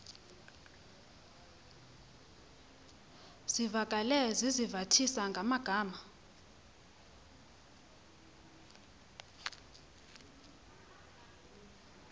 zivakale sizivathisa ngamagama